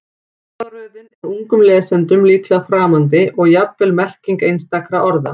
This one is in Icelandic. Orðaröðin er ungum lesendum líklega framandi og jafnvel merking einstakra orða.